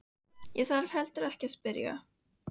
Ég þarf heldur ekki að spyrja.